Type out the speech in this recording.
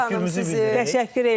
Təşəkkür edirəm sizə.